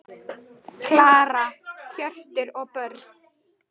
Klara, Hjörtur og börn.